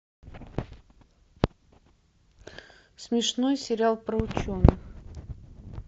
смешной сериал про ученых